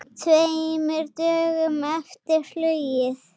Tveimur dögum eftir flugið.